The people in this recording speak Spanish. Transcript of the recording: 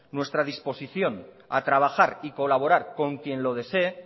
nuestra disposición a trabajar y colaborar con quién lo desee